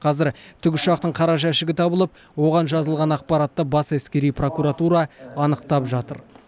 қазір тікұшақтың қара жәшігі табылып оған жазылған ақпаратты бас әскери прокуратура анықтап жатыр